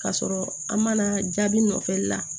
K'a sɔrɔ an mana jaabi nɔfɛ la